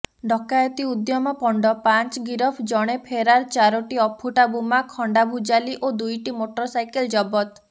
ଡକାୟତି ଉଦ୍ୟମ ପଣ୍ଡ ପାଞ୍ଚ ଗିରଫ ଜଣେ ଫେରାର୍ ଚାରୋଟି ଅଫୁଟା ବୋମା ଖଣ୍ଡାଭୁଜାଲି ଓ ଦୁଇଟି ମୋଟରସାଇକଲ ଜବତ